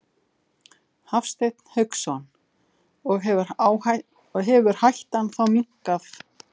Hafsteinn Hauksson: Og hefur hættan þá minnkað með þessu átaki?